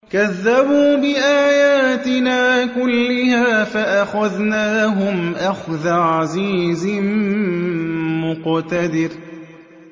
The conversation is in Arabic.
كَذَّبُوا بِآيَاتِنَا كُلِّهَا فَأَخَذْنَاهُمْ أَخْذَ عَزِيزٍ مُّقْتَدِرٍ